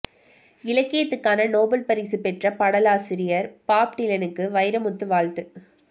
இலக்கியத்துக்கான Nobel பரிசு பெற்ற பாடலாசிரியர் பாப் டிலனுக்கு வைரமுத்து வாழ்த்து